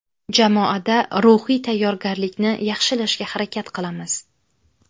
Jamoada ruhiy tayyorgarlikni yaxshilashga harakat qilamiz.